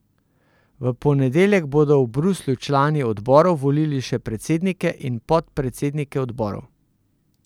V ponedeljek bodo v Bruslju člani odborov volili še predsednike in podpredsednike odborov.